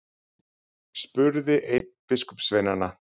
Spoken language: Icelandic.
spurði einn biskupssveinanna.